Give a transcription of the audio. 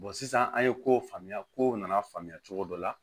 sisan an ye ko faamuya kow nana faamuya cogo dɔ la